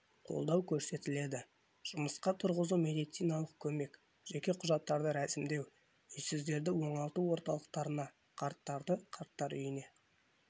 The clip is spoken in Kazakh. қолдау көрсетіледі жұмысқа тұрғызу медициналық көмек жеке құжаттарды рәсімдеу үйсіздерді оңалту орталықтарына қарттарды қарттар үйіне